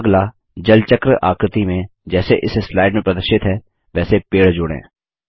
अगला जल चक्र आकृति में जैसे इस स्लाइड में प्रदर्शित है वैसे पेड़ जोड़ें